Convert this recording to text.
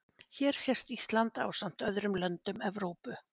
Hér sést Ísland ásamt öðrum löndum Evrópu.